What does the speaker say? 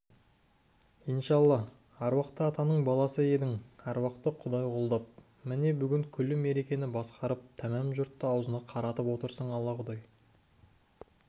иншалла аруақты атаның баласы едің аруақ-құдай қолдап міне бүгін күллі меркені басқарып тәмәм жұртты аузына қаратып отырсың алла-құдай